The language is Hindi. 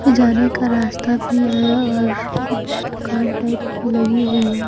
जाने का रास्ता भी हैं और कुछ दुकान टाइप की लगी हुई हैं ।